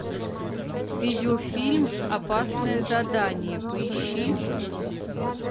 видеофильм опасное задание поищи